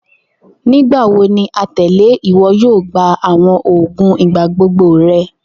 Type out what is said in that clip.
Nigbawo ni atẹle iwọ yoo gba awọn oogun igbagbogbo rẹ?.